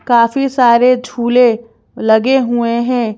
काफी सारे झूले लगे हुए हैं।